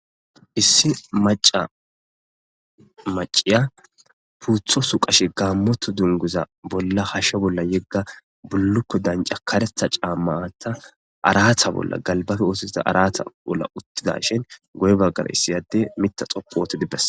Issi maca maciya puutho su qashe gaammoto dunguza bolla hashshe bolla yegga bullukko danca karetha caammata aratha bolla galbafe oosozida arata bolla uttidashin goy baggar issiyadde mita xoppooti dibbes.